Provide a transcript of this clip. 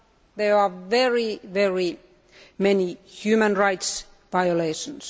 There are also very many human rights violations.